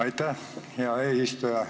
Aitäh, hea eesistuja!